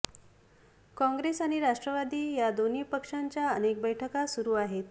काँग्रेस आणि राष्ट्रवादी या दोन्ही पक्षांच्या अनेक बैठका सुरू आहेत